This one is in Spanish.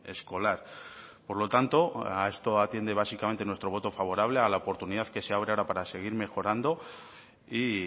escolar por lo tanto a esto atiende básicamente nuestro voto favorable a la oportunidad que se abre ahora para seguir mejorando y